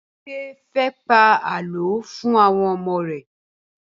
Bímpé fẹ́ pa àlọ́ fún àwọn ọmọ rẹ̀